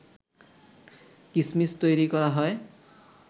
কিসমিস তৈরি করা হয়